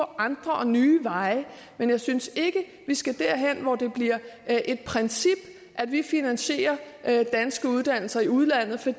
andre og nye veje men jeg synes ikke at vi skal derhen hvor det bliver et princip at vi finansierer danske uddannelser i udlandet for